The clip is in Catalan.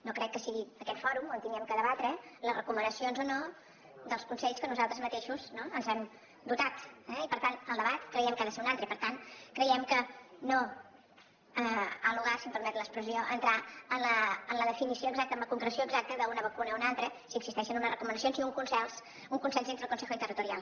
no crec que sigui en aquest fòrum on hàgim de debatre les recomanacions o no dels consells de què nosaltres mateixos ens hem dotat eh i per tant el debat creiem que ha de ser un altre i per tant creiem que no ha lugar si em permet l’expressió a entrar en la definició exacta amb la concreció exacta d’una vacuna o una altra si existeixen unes recomanacions i un consens dintre el consejo interterritorial